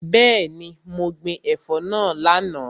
Bẹẹni, mo gbin ẹ̀fọ́ náà lánàá.